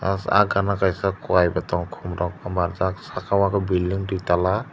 ahh gan kaisa qujai bo tongo khum rok omo saka o ke building duitala.